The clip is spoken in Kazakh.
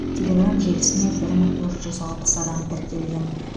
телеграмм желісіне бір мың төрт жүз алпыс адам тіркелген